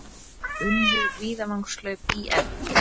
Unnu Víðavangshlaup ÍR